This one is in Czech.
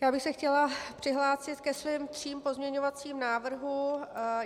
Já bych se chtěla přihlásit ke svým třem pozměňovacím návrhům.